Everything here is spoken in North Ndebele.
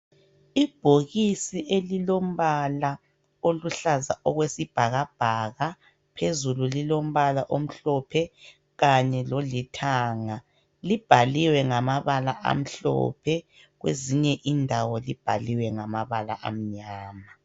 Ibhokisi elilombala oluhlaza okwesibhakabhaka phezulu lilombala omhlophe kanye lolithanga libhaliwe ngamabala amhlophe kwezinye indawo ibhaliwe ngamabala anyama.